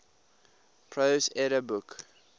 prose edda book